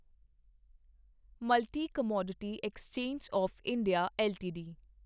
multi commodity exchange of India LTD